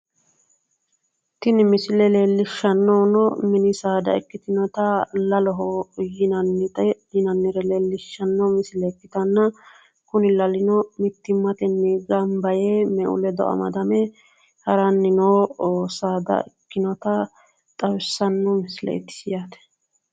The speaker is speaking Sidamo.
Tini misile leellishanohu mini saadati, la'loho yinanni saada me'u ledo gamba yite mittimmatenni hadhanni nootta leellishano